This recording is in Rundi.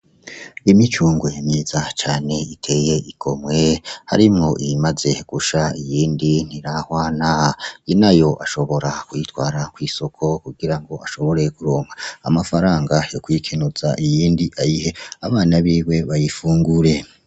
Imicungwe myiza cane itey'igomwe ,harimwo iyimaze gusha iyindi ntirahwana ,inayo ashobora kuyitwara kwisoko kugirango ashobore kuronka amafaranga yokwikeneza iyindi ayihe abana biwe bayifungure.